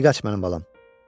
Di qaç mənim balam.